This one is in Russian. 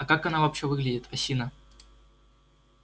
а как она вообще выглядит осина